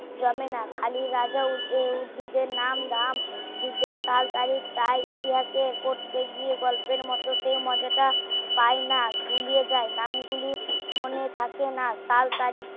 জানে না খালি রাজা ও উদ্ভিদ এর নাম দাম যুদ্ধ কাল তারিক কাল ইতিহাসের পড়তে গিয়ে গল্পের মতো সেই মজা টা পায় না গুলিয়ে যায় নাম গুলি মনে থাকে না কাল তারিক